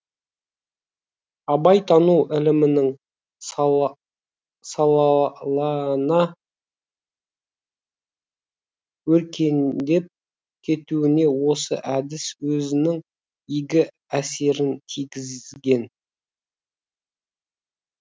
абайтану ілімінің салалана өркендеп кетуіне осы әдіс өзінің игі әсерін тигізген